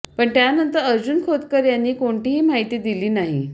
पण त्यानंतर अर्जुन खोतकर यांनी कोणतीही माहिती दिली नाही